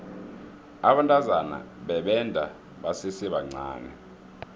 abantazana bebenda basesebancani